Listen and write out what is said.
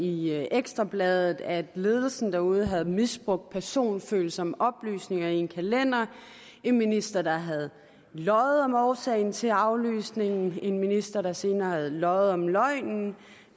i ekstra bladet at ledelsen derude havde misbrugt personfølsomme oplysninger i en kalender en minister der havde løjet om årsagen til aflysningen en minister der senere havde løjet om løgnen